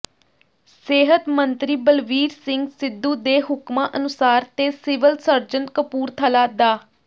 ਸਿਹਤ ਮੰਤਰੀ ਬਲਵੀਰ ਸਿੰਘ ਸਿੱਧੂ ਦੇ ਹੁਕਮਾਂ ਅਨੁਸਾਰ ਤੇ ਸਿਵਲ ਸਰਜਨ ਕਪੂਰਥਲਾ ਡਾ